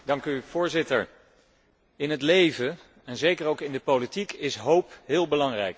Voorzitter, in het leven, en zeker ook in de politiek, is hoop heel belangrijk.